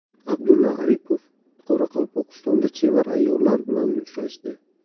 Abdulla Aripov Qoraqalpog‘istonda chevar ayollar bilan uchrashdi.